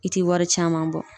I tɛ wari caman bɔ.